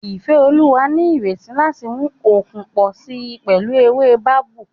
Ifeoluwa ní ìrètí láti mú okun pọ̀ sí i pẹ̀lú ewé babú